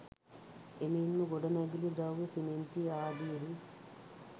එමෙන්ම ගොඩනැගිලි ද්‍රව්‍ය සිමෙන්ති ආදියෙහි